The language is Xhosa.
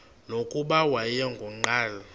nokuba wayengu nqal